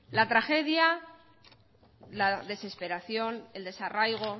la tragedia la desesperación el desarraigo